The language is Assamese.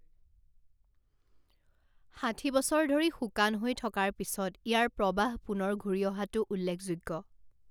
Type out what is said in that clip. ষাঠি বছৰ ধৰি শুকান হৈ থকাৰ পিছত ইয়াৰ প্ৰবাহ পুনৰ ঘূৰি অহাটো উল্লেখযোগ্য।